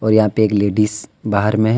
और यहां पे एक लेडीज बाहर में है।